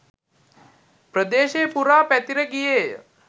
ප්‍රදේශය පුරා පැතිර ගියේය.